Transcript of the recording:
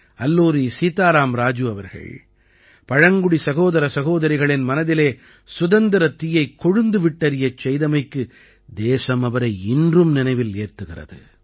அல்லூரி சீதாராம் ராஜூ அவர்கள் பழங்குடி சகோதர சகோதரிகளின் மனதிலே சுதந்திரத் தீயைக் கொழுந்து விட்டெரியச் செய்தமைக்கு தேசம் அவரை இன்றும் நினைவில் ஏத்துகிறது